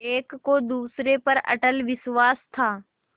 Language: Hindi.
एक को दूसरे पर अटल विश्वास था